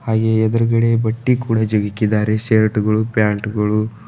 ಹಾಗೆಯೇ ಎದುರುಗಡೆ ಬಟ್ಟೆ ಕೂಡ ಜಗ್ಗಿ ಇಕ್ಕಿದಾರೆ ಶರ್ಟ್ ಗಳು ಪ್ಯಾಂಟ್ ಗಳು.